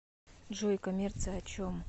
джой коммерция о чем